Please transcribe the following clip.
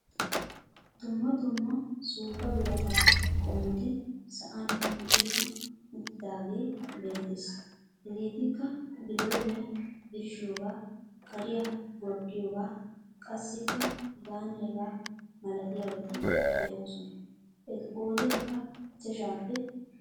Dumma dumma suuppa birataa qommoti sa'an micetti uttidaagee beettees. Hegeetikka bilooniyaa birshshiyoogaa, kariyaa gorddiyoogaa qassikka hegaanne hegaa malatiyaabati de"oosona. Etu qoodaykka ichchashshaappe daro.